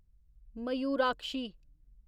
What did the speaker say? Mayurakshi